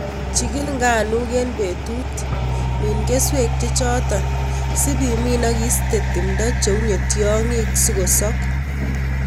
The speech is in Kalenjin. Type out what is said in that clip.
Chikil nganuk en betut, min keswek chechoton, sib imin ak iste timdo cheunye tiongik sikosok.